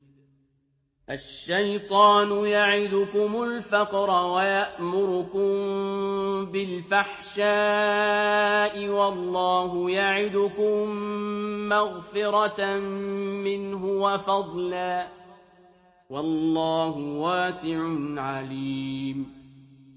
الشَّيْطَانُ يَعِدُكُمُ الْفَقْرَ وَيَأْمُرُكُم بِالْفَحْشَاءِ ۖ وَاللَّهُ يَعِدُكُم مَّغْفِرَةً مِّنْهُ وَفَضْلًا ۗ وَاللَّهُ وَاسِعٌ عَلِيمٌ